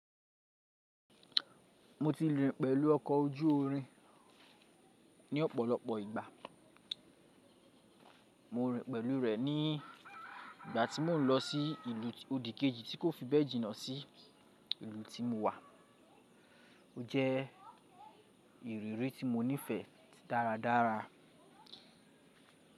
Mo ti rìn pẹ̀lú ọkọ̀ ojú irin ní ọ̀pọ̀lọpọ̀ ìgbà. Mo rìn pẹ̀lú rẹ̀ ní ìgbà tí mò ń lọ sí ìlú òdì kejì tí kò fi bẹ́ẹ̀ jìnnà sí ìlú tí mo wà. Ó jẹ́ ìrírí tí mo nífẹ̀ẹ́ dáradára.